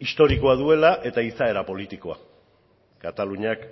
historikoa duela eta izaera politikoa kataluniak